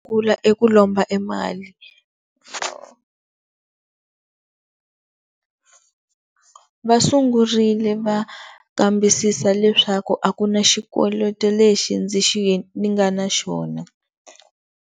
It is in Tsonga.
Kula eku lomba e mali va sungurile va nkambisisa leswaku a ku na xikoloto lexi ndzi ndzi nga na xona.